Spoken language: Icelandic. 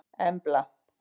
Embla